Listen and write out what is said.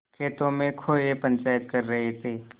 खेतों में कौए पंचायत कर रहे थे